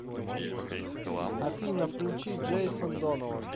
афина включи джейсон донован